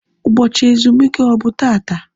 Ụbọchị ezumike ọ bụ taata?